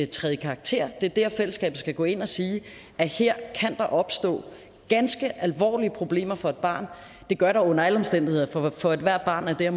træde i karakter det er der fællesskabet skal gå ind og sige at her kan der opstå ganske alvorlige problemer for et barn det gør der under alle omstændigheder for ethvert barn er det at